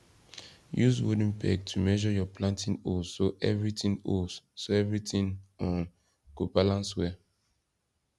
use wooden peg to measure your planting holes so everything holes so everything um go balance well